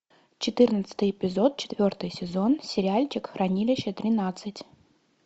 четырнадцатый эпизод четвертый сезон сериальчик хранилище тринадцать